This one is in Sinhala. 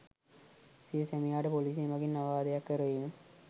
සිය සැමියාට පොලිසිය මගින් අවවාදයක් කරවීම